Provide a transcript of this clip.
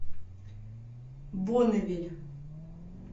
бонневиль